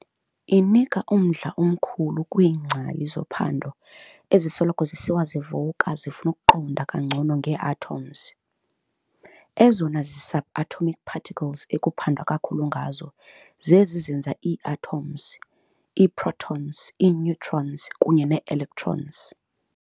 Inika umdla omkhulu kwiingcali zophando ezisoloko zisiwa zivuka zifuna ukuqonda kangcono ngee-atoms. Ezona zi-subatomic particles ekuphandwa kakhulu ngazo zezi zenza ii-atoms- ii-protons, ii-neutrons, kunye nee-electrons.